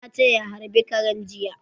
Na ce ya harbe karen jiya